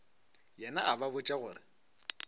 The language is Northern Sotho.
yena a ba botša gore